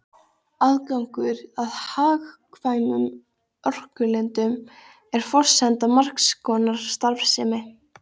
Aðgangur að hagkvæmum orkulindum er forsenda margs konar starfsemi.